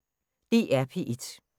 DR P1